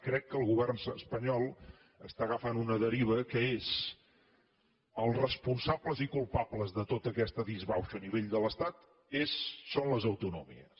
crec que el govern espanyol està agafant una deriva que és els responsables i culpables de tota aquesta disbauxa a nivell de l’estat són les autonomies